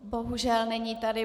Bohužel, není tady.